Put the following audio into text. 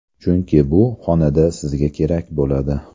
Chunki bu xonada sizga kerak bo‘ladi.